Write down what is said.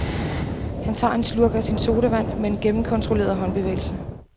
Han tager en slurk af sin sodavand med en gennemkontrolleret håndbevægelse.